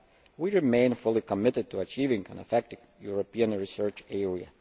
We remain fully committed to achieving an effective European Research Area.